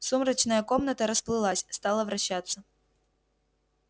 сумрачная комната расплылась стала вращаться